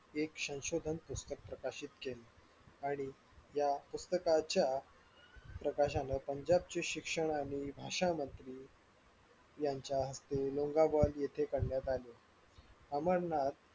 एक संशोधन पुस्तक प्रकाशित केलं आणि या पुस्तकाच्या प्रकाशाने पंजाबच्या शिक्षणाने असा भाषामध्ये यांच्या मोगल इथे करण्यात आली अंमरनाथ